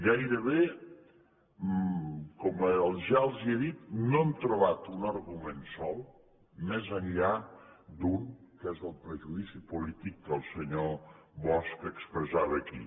gairebé com ja els he dit no hem trobat un argument sol més enllà d’un que és el prejudici polític que el senyor bosch expressava aquí